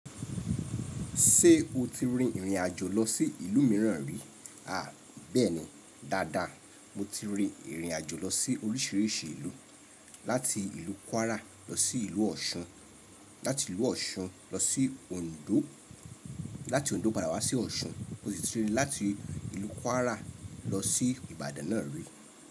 Ṣé o ti rin ìrìn àjò lọ sí ìlú mìíràn rí? A bẹ́ẹ̀ni dáadáa, mo ti rin ìrìn àjò lọ sí oríṣiríṣi ìlú, láti ìlú Kwara lọ sí ìlú Ọ̀ṣun, láti ìlú Ọ̀ṣun lọ sí Òndó, láti Òndó padà wá sí Ọ̀ṣun, mo sì ti rin láti ìlú Kwara lọ sí Ìbàdàn náà rí.